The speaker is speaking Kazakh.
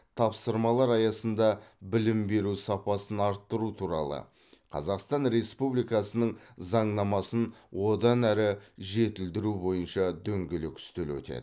тапсырмалар аясында білім беру сапасын арттыру туралы қазақстан республикасының заңнамасын одан әрі жетілдіру бойынша дөңгелек үстел өтеді